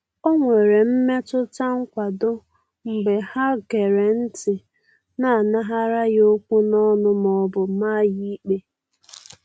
O nwere mmetụta nkwado mgbe ha gere ntị na-anaghara ya okwu n'ọnụ ma ọ bụ maa ya ikpe.